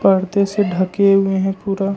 पर्दे से ढके हुए हैं पूरा।